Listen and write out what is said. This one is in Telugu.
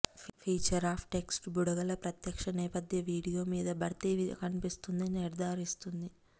ఫీచర్ ఆపై టెక్స్ట్ బుడగలు ప్రత్యక్ష నేపథ్య వీడియో మీద భర్తీ కనిపిస్తుంది నిర్ధారిస్తుంది